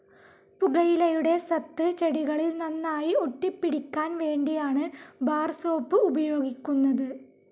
പുകയിലയുടെ സത്ത് ചെടികളിൽ നന്നായി ഒട്ടിപ്പിടിയ്ക്കാൻ വേണ്ടിയാണ് ബാർ സോപ്പ്‌ ഉപയോഗിക്കുന്നത്.